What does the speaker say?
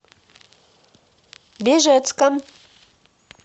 бежецком